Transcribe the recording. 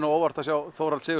á óvart að sjá